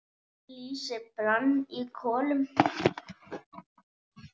Lýsi brann í kolum.